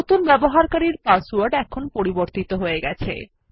নতুন ব্যবহারকারীর পাসওয়ার্ড এখন পরিবর্তিত হয়ে গেছে